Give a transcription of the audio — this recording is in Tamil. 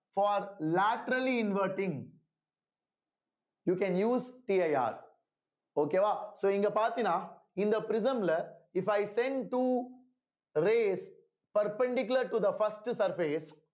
for laterally inverting you can useCIRokay வா so இங்க பார்த்தீன்னா இந்த prism ல if i send two rays perpendicular to the first surface